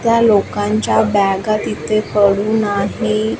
त्या लोकांच्या बॅगा तिथे पडून आहे.